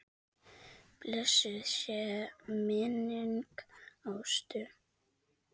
Blessuð sé minning Ástu.